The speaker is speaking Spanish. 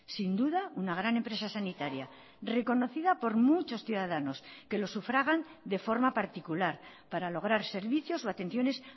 sin duda una gran empresa sanitaria reconocida por muchos ciudadanos que lo sufragan de forma particular para lograr servicios o atenciones